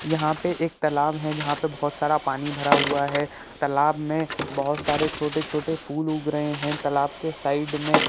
यहाँ पे एक तलाब है जहां पर बहोत सारा पानी भरा हुआ है तलाब में बहोत सारे छोटे-छोटे फूल उग रहे है तलाब के साइड में---